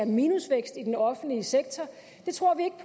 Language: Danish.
minusvækst i den offentlige sektor det tror vi ikke